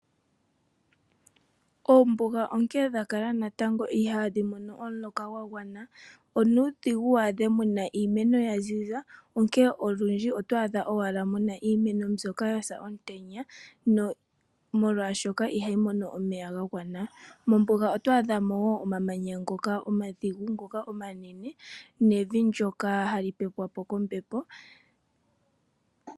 Oombunga onkee natango ihaadhi mono omuloka gwagwana nawa onuudhigu waadhe muna iimeno yaziza onkee olundji otwaadhamo ashike iimeno yatsa komutenya, molwaashoka ihayi mono omeya gagwana. Mombunga otwaadhamo woo omamanya omadhigu omanene nevi ndyoka hali pepwapo kombepo.